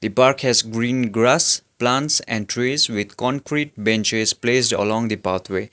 the park has green grass plants and trees with concrete benches placed along the pathway.